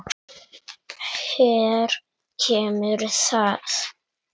Hér kemur það.